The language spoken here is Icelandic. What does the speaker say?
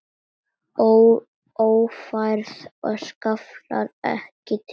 Ófærð og skaflar ekki til.